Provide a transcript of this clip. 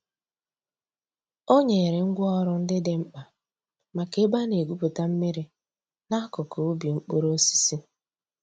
Ọ̀ nyèrè ngwá òrụ̀ ńdí dị̀ m̀kpa mǎká èbè a nà-ègwùpùtà mmìrì n'àkùkò ǔbì mkpụrụ̀ òsísì.